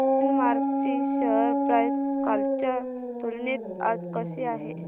Glenmark ची share price कालच्या तुलनेत आज कशी आहे